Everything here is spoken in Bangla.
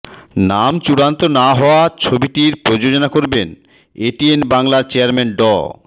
নাম চূড়ান্ত না হওয়া ছবিটি প্রযোজনা করবেন এটিএন বাংলার চেয়ারম্যান ড